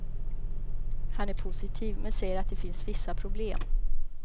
Han är positiv, men säger att det finns vissa problem.